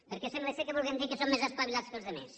perquè sembla que vol dir que som més espavilats que els altres